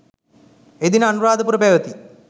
එදින අනුරාධපුර පැවැති